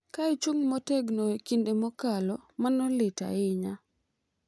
Ka ichung’ motegno e kinde mokalo, mano lit ahinya